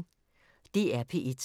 DR P1